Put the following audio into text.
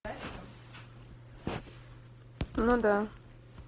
ну да